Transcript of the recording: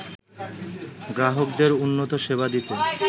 গ্রাহকদের উন্নত সেবা দিতে